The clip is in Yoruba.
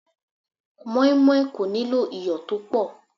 Moinmoin kò nílò iyọ̀ tó pọ̀.